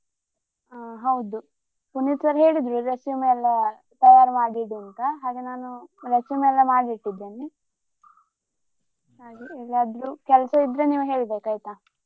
ಆ ಹೌದು ಸುನಿಲ್ sir ಹೇಳಿದ್ರು resume ಎಲ್ಲಾ ತಯಾರ್ ಮಾಡಿ ಇಡು ಅಂತಾ ಹಾಗೆ ನಾನು resume ಎಲ್ಲಾ ಮಾಡಿಟ್ಟಿದ್ದೇನೆ ಹಾಗೆ ಏನಾದ್ರು ಕೆಲ್ಸ ಇದ್ರೆ ನೀವು ಹೇಳ್ಬೇಕು, ಆಯ್ತಾ?